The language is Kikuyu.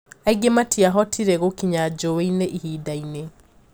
Angi matiahũtire gũkinya joweini ihindaini.